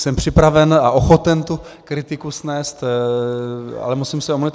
Jsem připraven a ochoten tu kritiku snést, ale musím se omluvit.